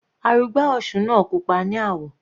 Arugbá òsun náà pupa ní àwọ̀.